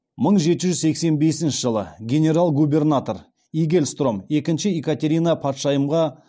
мың жеті жүз сексен бесінші жылы генерал губернатор игельстром екінші екатерина патшайымға